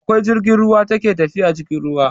Akwai jirgin ruwa ta ke tafiya cikin ruwa